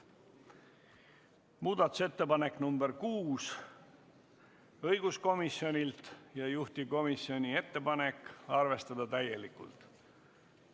Muudatusettepanek nr 6 on õiguskomisjonilt ja juhtivkomisjoni ettepanek on arvestada seda täielikult.